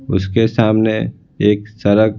उसके सामने एक सड़क--